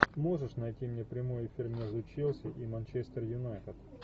можешь найти мне прямой эфир между челси и манчестер юнайтед